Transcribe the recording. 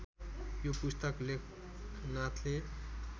यो पुस्तक लेखनाथले